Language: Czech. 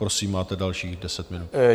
Prosím, máte dalších deset minut.